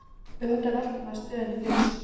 Auðvitað veltir maður stöðunni fyrir sér